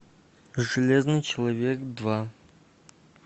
железный человек два